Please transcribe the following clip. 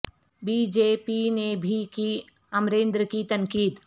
be J P نے بھی کی امریندر کی تنقید